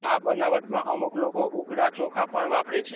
આ બનાવટમાં અમુક લોકો ઉકડા ચોખા પ્ણ વાપરે છે